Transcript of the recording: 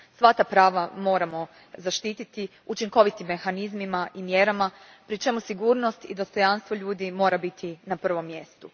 Sva ta prava moramo zaštititi učinkovitim mehanizmima i mjerama, pri čemu sigurnost i dostojanstvo ljudi moraju biti na prvom mjestu.